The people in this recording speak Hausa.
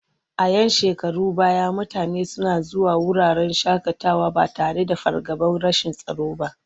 A 'yan shekarun baya mutane suna zuwa wuraren shaƙatawa ba tare da fargabar rashin tsaro ba.